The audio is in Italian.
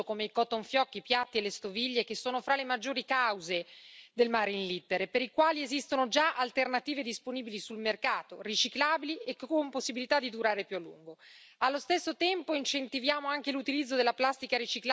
Con questa nuova direttiva vietiamo i prodotti in plastica monouso come i cotton fioc, i piatti e le stoviglie, che sono fra le maggiori cause dell'inquinamento marino, per i quali esistono già alternative disponibili sul mercato, riciclabili e con possibilità di durare più a lungo.